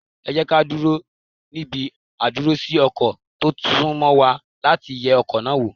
Ẹ jẹ́ kí á dúró níbi àdúrósí ọkọ̀ tó sún mọ́ wa láti yẹ ọkọ̀ náà wò.